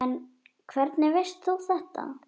En hvernig veist þú þetta?